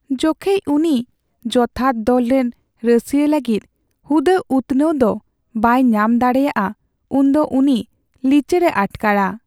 ᱡᱚᱠᱷᱮᱡ ᱩᱱᱤ ᱡᱚᱛᱷᱟᱛ ᱫᱚᱞ ᱨᱮᱱ ᱨᱟᱹᱥᱤᱭᱟᱹ ᱞᱟᱹᱜᱤᱫ ᱦᱩᱫᱟᱹ ᱩᱛᱱᱟᱹᱣ ᱫᱚ ᱵᱟᱭ ᱧᱟᱢ ᱫᱟᱲᱮᱭᱟᱜᱼᱟ ᱩᱱ ᱫᱚ ᱩᱱᱤ ᱞᱤᱪᱟᱹᱲᱮ ᱟᱴᱠᱟᱨᱟ ᱾